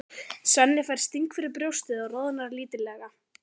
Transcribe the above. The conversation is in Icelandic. Svenni fær sting fyrir brjóstið og roðnar lítillega.